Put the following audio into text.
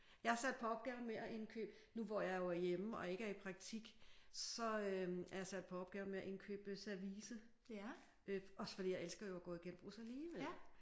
Jeg er sat på opgaven med at indkøbe nu hvor jeg jo er hjemme og ikke i praktisk så øh er jeg sat på opgaven med at indkøbe service også fordi jeg elsker jo at gå i genbrug alligevel